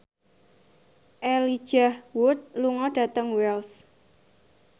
Elijah Wood lunga dhateng Wells